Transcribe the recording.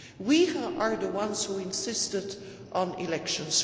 We are the ones who insisted on elections.